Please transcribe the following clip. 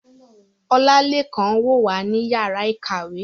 Olalekan n wo wa ni yara ikawe